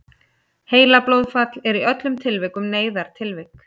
heilablóðfall er í öllum tilvikum neyðartilvik